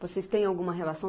Vocês têm alguma relação?